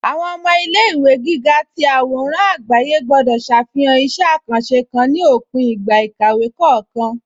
Awọn ọmọ ilẹ̀-ìwé gígà tì awòràn agbàyé gbọ̀dọ̀ ṣáfihàn ìṣẹ̀ àkàńṣé kán ní òpìn ìgbà ìkàwé kọọkan